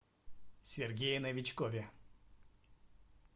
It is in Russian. сергее новичкове